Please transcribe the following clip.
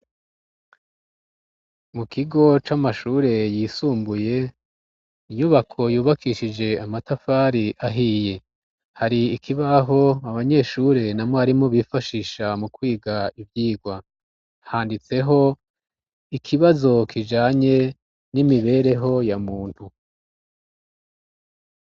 Mu kigo c'amashure yisumbuye inyubako yubakishije amatafari ahiye hari ikibaho abanyeshure na mwarimo bifashisha mu kwiga ivyigwa handitseho ikibazo kijanye n'imibereho ya muntu.